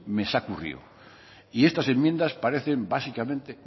y estas enmiendas parecen básicamente